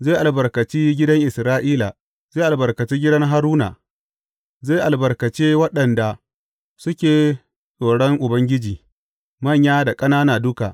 Zai albarkace gidan Isra’ila, zai albarkace gidan Haruna, zai albarkace waɗanda suke tsoron Ubangiji, manya da ƙanana duka.